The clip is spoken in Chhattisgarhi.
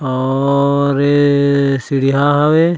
और ए सीढिया हवे --